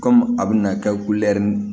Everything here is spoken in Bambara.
Kɔmi a bɛna kɛ